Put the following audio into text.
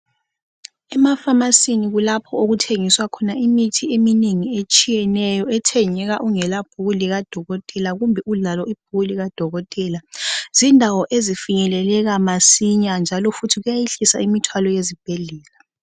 Emafamasini kulapho okuthengiswa khona imithi eminengi etshiyeneyo ethengeka ungela bhuku likadokotela kumbe ulalo ibhuku likadomotela. Zindawo ezifinyeleleka masinya njalo futhi kuyayehlisa imithwalo yezibhedlela.